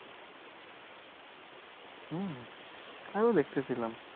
আরও দেখতেছিলাম।